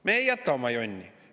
Me ei jäta oma jonni!